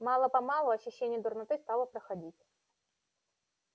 мало-помалу ощущение дурноты стало проходить